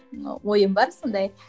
ы ойым бар сондай